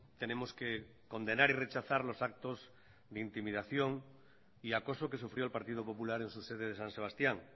tenemos que condenar y rechazar los actos de intimidación y acoso que sufrió el partido popular en su sede de san sebastián